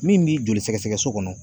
Min b'i joli sɛgɛsɛgɛ so kɔnɔ